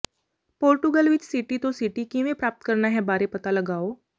Portugal ਵਿੱਚ city ਤੋਂ city ਕਿਵੇਂ ਪ੍ਰਾਪਤ ਕਰਨਾ ਹੈ ਬਾਰੇ ਪਤਾ ਲਗਾਓ